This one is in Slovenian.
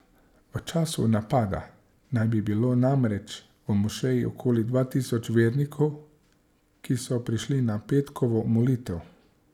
V času napada naj bi bilo namreč v mošeji okoli dva tisoč vernikov, ki so prišli na petkovo molitev.